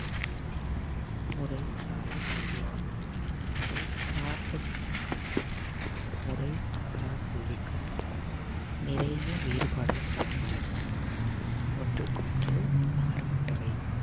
முறைசாரா கல்வியாகும். முறை சார்ந்த கல்விக்கும் முறைசாரா கல்விக்கும் நிறைய வேறுபாடு இருக்கின்றன ஒன்றுக்கொன்று மாறுபட்டவை